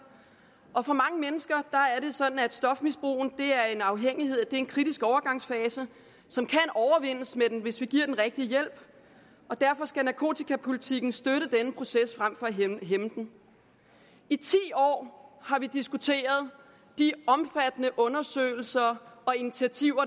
og for mange mennesker er det sådan at stofmisbrug er en afhængighed det er en kritisk overgangsfase som kan overvindes hvis vi giver den rigtige hjælp derfor skal narkotikapolitikken støtte denne proces frem at hæmme den i ti år har vi diskuteret de omfattende undersøgelser og initiativer